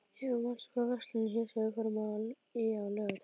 Eva, manstu hvað verslunin hét sem við fórum í á laugardaginn?